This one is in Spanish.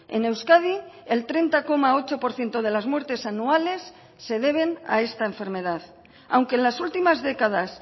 en euskadi el treinta coma ocho por ciento de las muertes anuales se deben a esta enfermedad aunque en las últimas décadas